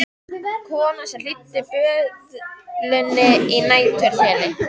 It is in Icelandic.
Konan sem hýddi böðulinn að næturþeli.